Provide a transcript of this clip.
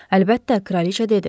Əlbəttə, kraliçə dedi.